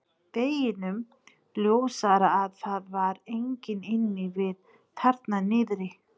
Deginum ljósara að það var enginn inni við þarna niðri.